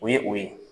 O ye o ye